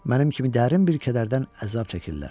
Mənim kimi dərin bir kədərdən əzab çəkirlər.